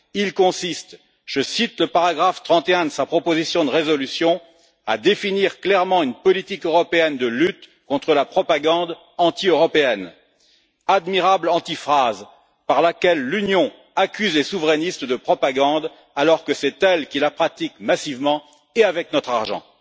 Il consiste je cite le paragraphe 31 de sa proposition de résolution à définir clairement une politique européenne de lutte contre la propagande anti européenne, admirable antiphrase par laquelle l'Union accuse les souverainistes de propagande alors que c'est elle qui la pratique massivement et avec notre argent.